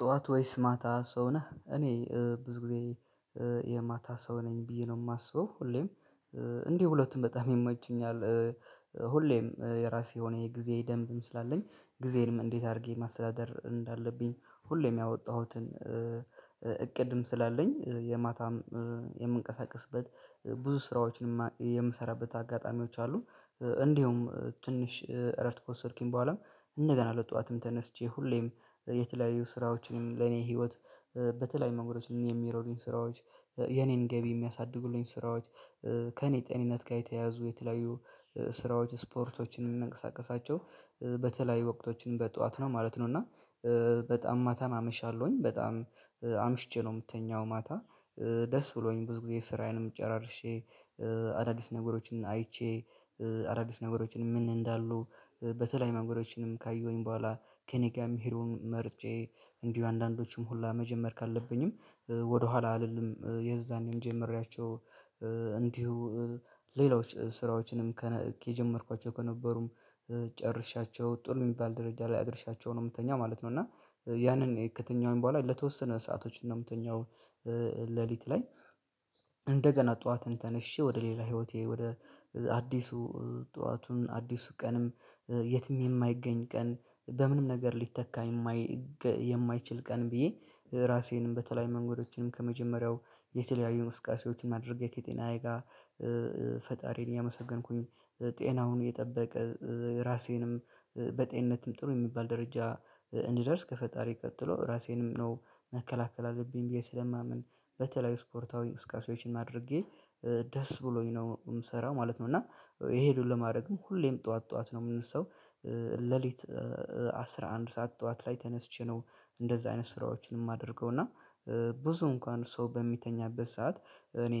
ጠዋት ወይስ ማታ ሰው ነህ እኔ ብዙ ጊዜ የማታ ሰው ነኝ ብዬ ነው የማስበው ሁሌም እንዲህ ሁለቱም በጣም ይመቹኛል። ሁሌም የራሴ የሆነ የጊዜ ደንብም ስላለኝ ጊዜንም እንዴት አድርጌ ማስተዳደር እንዳለብኝ ሁሌም ያወጣሁትን እቅድም ስላለኝ የማታም የምንቀሳቀስበት ብዙ ስራዎችን የምሰራበት አጋጣሚዎች አሉ። እንዲሁም ትንሽ እረፍት ከወሰድኩኝ በኋላም እንደገና ለጠዋትም ተነስቼ ሁሌም የተለያዩ ስራዎችንም ለኔ ህይወት በተለያዩ መንገዶችንም የሚረዱኝ ስራዎች የኔን ገቢ የሚያሳድጉልኝ ስራዎች ከእኔ ጤንነት ጋር የተያያዙ የተለያዩ ስራዎች ስፖርቶችን የሚነቀሳቀሳቸው በተለያዩ ወቅቶችን በጠዋት ነው ማለት ነው። እና በጣም ማታም አመሻለሁኝ በጣም አምሽቼ ነው የምተኛው ማታ ደስ ብሎኝ ብዙ ጊዜ ስራዬንም ጨራርሼ። አዳዲስ ነገሮችን አይቼ አዳዲስ ነገሮችን ምን እንዳሉ በተለያዩ መንገዶችንም ካየሁኝ በኋላ ከእኔ ጋር የሚሄደውን መርጬ እንዲሁ አንዳንዶቹም ሁላ መጀመር ካለብኝም ወደኋላ አልልም የዛኔም ጀምሬያቸው እንዲሁ ሌሎች ስራዎችንም ከጀመርኳቸው ከነበሩም ጨርሻቸው ጥሩ የሚባል ደረጃ ላይ አድርሻቸው ነው የምተኛው ማለት ነው። እና ያንን የከተኛውን በኋላ ለተወሰነ ሰአቶች ነው የምተኛው። ሌሊት ላይ እንደገና ጠዋትን ተነስሼ ወደ ሌላ ህይወቴ ወደ አዲሱ ጠዋቱን አዲሱ ቀንም የትም የማይገኝ ቀን በምንም ነገር ሊተካ የማይገ የማይችል ቀን ብዬ ራሴንም በተለያዩ መንገዶችንም ከመጀመሪያው የተለያዩ እንቅስቃሴዎችን አድርጌ ከጤናዬ ጋር ፈጣሪን እያመሰገንኩኝ ጤናውን የጠበቀ ራሴንም በጤንነትም ጥሩ የሚባል ደረጃ እንድደርስ ከፈጣሪ ቀጥሎ ራሴንም ነው መከላከል አለብኝ ብዬ ስለማምን በተለይ ስፖርታዊ እንቅስቃሴዎችን አድርጌ ደስ ብሎኝ ነው የምሰራው ማለት ነው። እና የሄዱኝ ለማድረግ ሁሌም ጠዋት ጠዋት ነው የምንሰው ሌሊት አስራ አንድ ሰዓት ጠዋት ላይ ተነስቼ ነው እንደዛ አይነት ስራዎችን የማደርገው እና ብዙ እንኳን ሰው በሚተኛበት ሰዓት እኔ